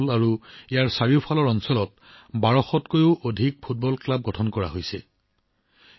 শ্বাহদল আৰু ইয়াৰ আশেপাশে থকা অঞ্চলত ১২০০ৰো অধিক ফুটবল ক্লাব গঠন কৰা হৈছে